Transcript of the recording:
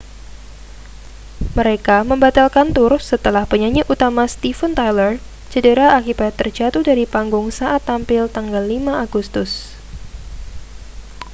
mereka membatalkan tur setelah penyanyi utama steven tyler cedera akibat terjatuh dari panggung saat tampil tanggal 5 agustus